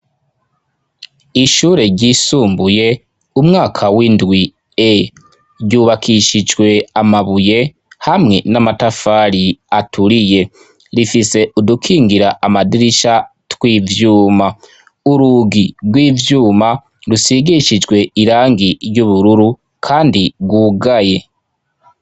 Ishure ryisumbuye umwaka w'indwi E ryubakishijwe amabuye hamwe n'amatafari aturiye. Rifise udukingira amadirisha tw'ivyuma urugi rw'ivyuma rusigishijwe irangi ry'ubururu kandi rwugaye.